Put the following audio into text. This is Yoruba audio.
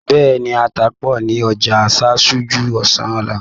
Bẹ́ẹ̀ni, ata pọ̀ ní ọjà Ṣáṣá ju ọsàn lọ.